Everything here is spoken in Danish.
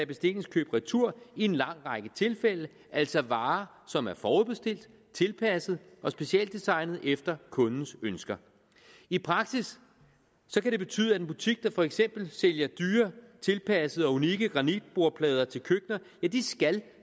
bestillingskøb retur i en lang række tilfælde altså varer som er forudbestilt tilpasset og specialdesignet efter kundens ønsker i praksis kan det betyde at en butik der for eksempel sælger dyre tilpassede og unikke granitbordplader til køkkener skal